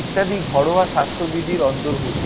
ইত্যাদি ঘরোয়া স্বাস্থ্যবিধির অন্তর্ভুক্ত।